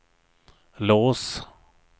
lås